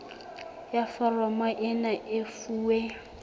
ya foromo ena e fuwe